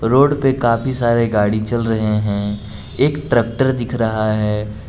Road पे काफी सारे गाड़ी चल रहे हैं एक ट्रैक्टर दिख रहा है।